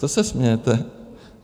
Co se smějete?